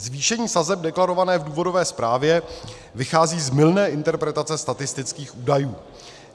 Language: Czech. Zvýšení sazeb deklarované v důvodové zprávě vychází z mylné interpretace statistických údajů.